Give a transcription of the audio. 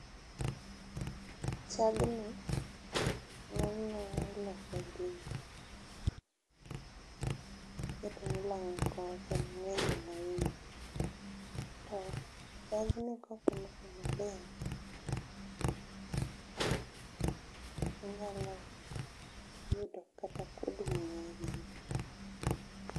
not clear with pauses